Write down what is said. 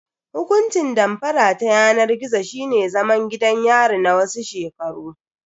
Hukuncin damfara ta yanar gizo shine zaman gidan yari na wasu shekaru.